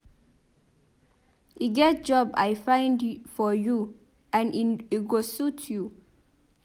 E get job I find for you and e go suit you.